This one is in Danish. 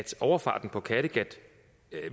overfarten på kattegat